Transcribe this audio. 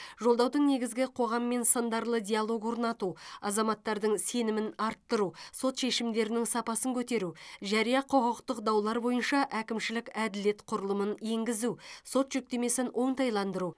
жолдаудың негізгі қоғаммен сындарлы диалог орнату азаматтардың сенімін арттыру сот шешімдерінің сапасын көтеру жария құқықтық даулар бойынша әкімшілік әділет құрылымын енгізу сот жүктемесін оңтайландыру